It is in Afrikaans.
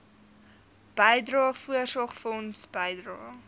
bydrae voorsorgfonds bydrae